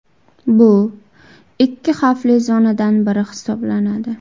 Bu ikki xavfli zonadan biri hisoblanadi.